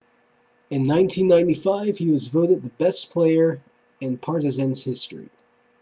in 1995 he was voted the best player in partizan's history